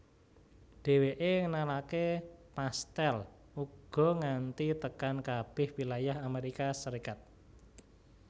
Dhéwéké ngenalaké pastèl uga nganti tekan kabeh wilayah Amérika Serikat